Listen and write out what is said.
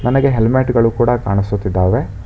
ನನಗೆ ಹೆಲ್ಮೆಟ್ ಗಳು ಕೂಡ ಕಾಣಿಸುತ್ತಿದ್ದಾವೆ.